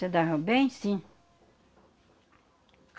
Se davam bem, sim.